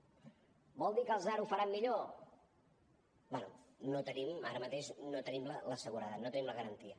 vol dir que els d’ara ho faran millor bé no en tenim ara mateix la seguretat no en tenim la garantia